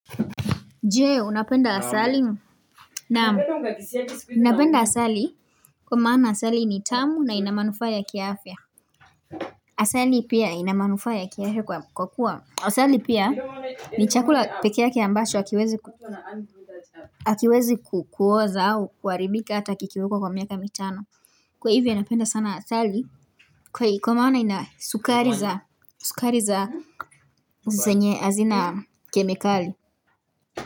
Je, unapenda asali? Naam napenda asali Kwa maana asali ni tamu na inamanufaa ya kiafya. Asali pia inamanufaa ya kiafya kwa kuwa asali pia ni chakula pekee yake ambacho hakiwezi ku Hakiwezi kuoza au kuwaharibika hata kikiwekwa kwa miaka mitano. Kwa hivyo napenda sana asali Kwa maana inasukari za zenye hazina kemikali.